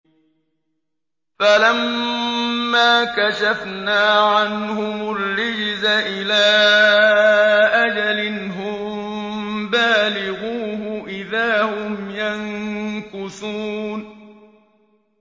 فَلَمَّا كَشَفْنَا عَنْهُمُ الرِّجْزَ إِلَىٰ أَجَلٍ هُم بَالِغُوهُ إِذَا هُمْ يَنكُثُونَ